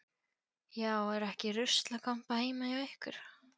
Já, er ekki ruslakompa heima hjá ykkur.